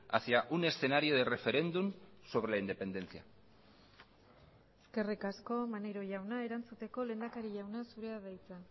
hacia un escenario de referéndum sobre la independencia eskerrik asko maneiro jauna erantzuteko lehendakari jauna zurea da hitza